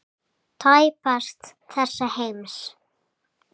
Tæpast þessa heims.